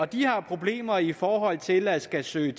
de har problemer i forhold til at skulle søge